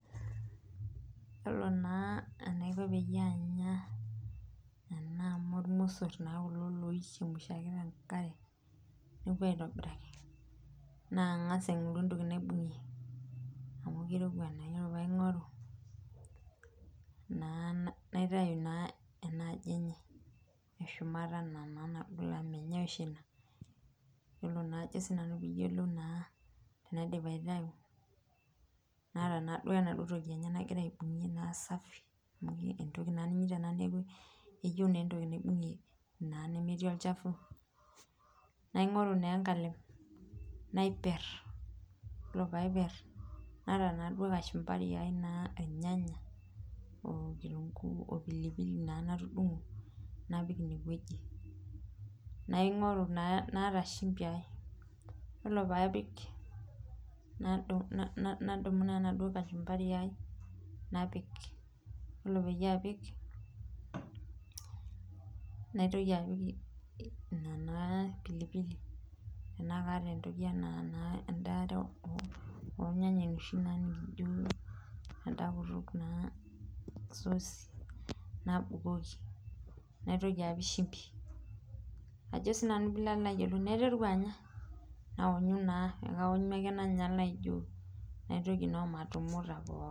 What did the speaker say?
Yiolo naa enaiko peyie anya kuna amu iromosor naa kulo loichemshaki tenkare neeku aitobiraki na angas aingoru entoki naibungie amu keirowua naa ,ore pee aingoru naa naitayu ena aji enye ena naa eshumata naagoli amu menyae oshi ina, yiolo naa tenaidip aitau naata naa enaduo toki enye nagira aibungie naa safi amu entoki naa ena ninyita neeku eyieu entoki nimbungie nemetii olchafu ,naingoru naa enkalem napier ,ore pee aiper naata naa duo naa kachumbari ai naa irnyanya okitunkuu opilipili naa natudungo napik ineweji naata naa shumpi ai ,yiolo pee apik nadumu naa enaduo kachumbari ai napik ,yiolo pee apik naitoki naa adumu ina pilipili ,tenakata naa sosi, nabukoki naitoki apik shumpi naiteru anya neeku kaonyu ake naijoo omatumuta.